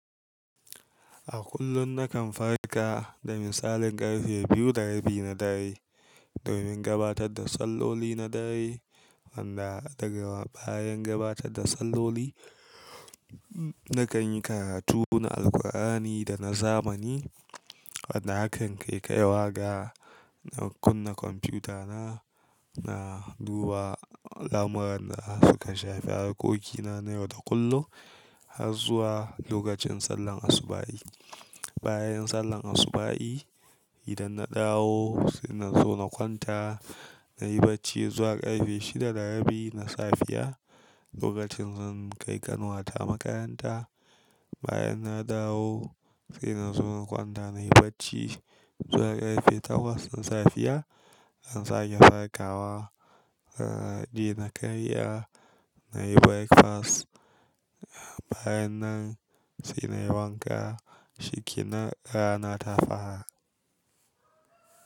A kullum nakan farka daga misalin ƙarfe biyu da rabi na dare domin gabatar da salloli na dare wanda daga bayan gabatar da salloli nakan yi karatu na Alkur'ani da na zamani. Wanda hakan kai kaiwa ga na kunna kwamfutana na duba lamuran da suka shafi harkokina na yau da kullum har zuwa lokacin sallan asubahi. Bayan sallan asubahi idan na dawo sai na zo na kwanta na yi bacci zuwa ƙarfe shida da rabi na safiya lokacin zan kai ƙanuwata makaranta. Bayan na dawo sai na zo na kwanta na yi bacci zuwa ƙarfe takwas na safiya in sake farkawa. Sa'ad da na karya na yi breakfast bayan nan sai na yi wanka, shiki na rana ta fara.